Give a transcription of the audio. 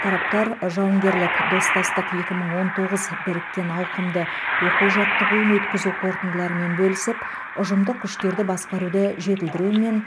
тараптар жауынгерлік достастық екі мың он тоғыз біріккен ауқымды оқу жаттығуын өткізу қорытындыларымен бөлісіп ұжымдық күштерді басқаруды жетілдіру мен